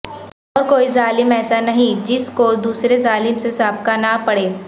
اور کوئی ظالم ایسا نہیں جس کو دوسرے ظالم سے سابقہ نہ پڑے